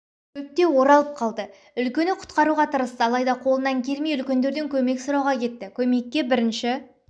шөпте оралып қалды үлкені құтқаруға тырысты алайда қолынан келмей үлкендерден көмек сұрауға кетті көмекке бірінші